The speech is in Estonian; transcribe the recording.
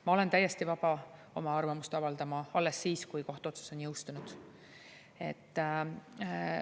Ma olen täiesti vaba oma arvamust avaldama alles siis, kui kohtuotsus on jõustunud.